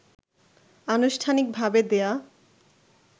আনুষ্ঠানিক ভাবে দেয়া